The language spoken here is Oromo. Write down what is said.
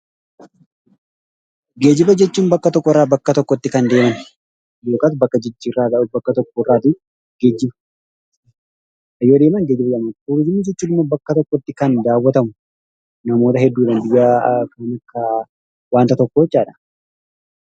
Geejjiba jechuun bakka tokkorraa bakka tokkotti kan deeman yookaan bakka jijjiirraadhaan bakka tokkorraa geejjibuun turizimii jechuun immoo bakka tokkotti kan daawwatamu namoota hedduun kan daawwatamu wanta tokko jechuudha.